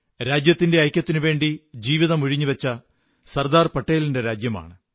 രാജ്യത്തിന്റെ ഐക്യത്തിനുവേണ്ടി ജീവിതം ഉഴിഞ്ഞുവച്ച സർദാർ പട്ടേലിന്റെ രാജ്യമാണ്